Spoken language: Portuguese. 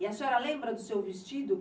E a senhora lembra do seu vestido?